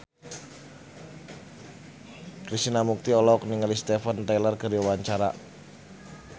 Krishna Mukti olohok ningali Steven Tyler keur diwawancara